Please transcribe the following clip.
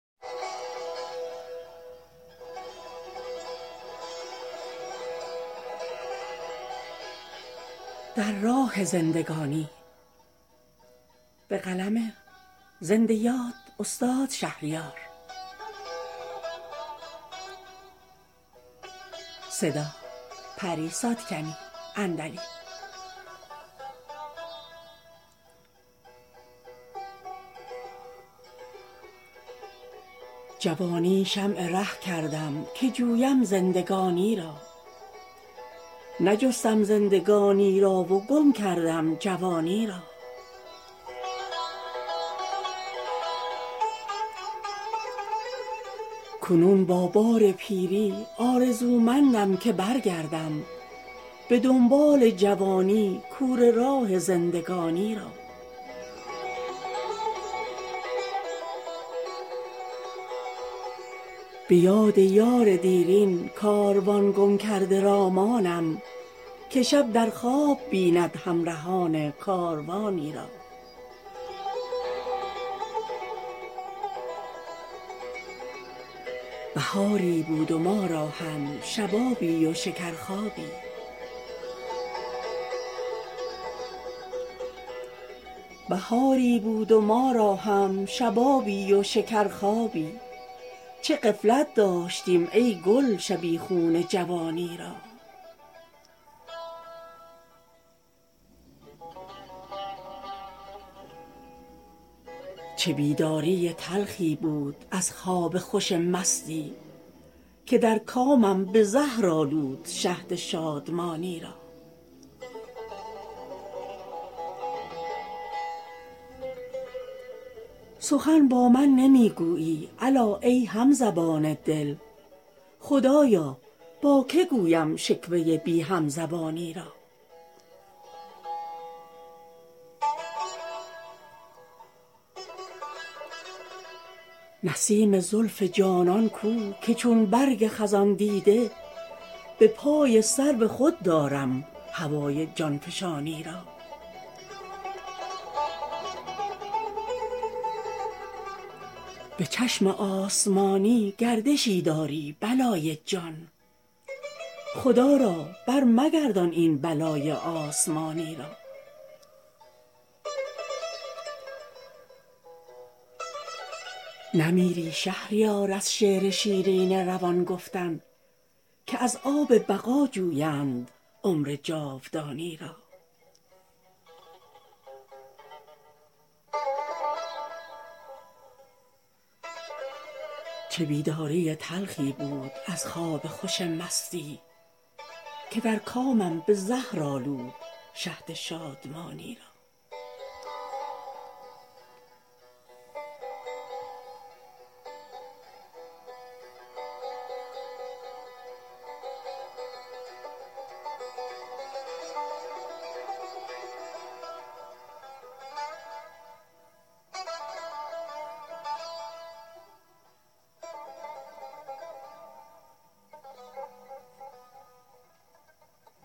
جوانی شمع ره کردم که جویم زندگانی را نجستم زندگانی را و گم کردم جوانی را کنون با بار پیری آرزومندم که برگردم به دنبال جوانی کوره راه زندگانی را به یاد یار دیرین کاروان گم کرده را مانم که شب در خواب بیند همرهان کاروانی را بهاری بود و ما را هم شبابی و شکر خوابی چه غفلت داشتیم ای گل شبیخون خزانی را چه بیداری تلخی بود از خواب خوش مستی که در کامم به زهر آلود شهد شادمانی را سخن با من نمی گویی الا ای همزبان دل خدایا با که گویم شکوه بی همزبانی را نسیم زلف جانان کو که چون برگ خزان دیده به پای سرو خود دارم هوای جانفشانی را به چشم آسمانی گردشی داری بلای جان خدا را بر مگردان این بلای آسمانی را نمیری شهریار از شعر شیرین روان گفتن که از آب بقا جویند عمر جاودانی را